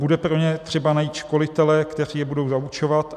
Bude pro ně třeba najít školitele, kteří je budou zaučovat.